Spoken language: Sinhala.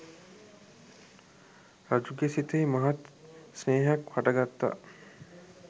රජුගේ සිතෙහි මහත් ස්නේහයක් හටගත්තා